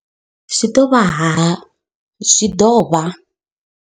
Zwi ḓo vha.